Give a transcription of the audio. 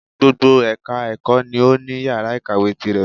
Gbogbo ẹka ẹ̀kọ́ ni o ní yàrá ìkàwé tirẹ̀.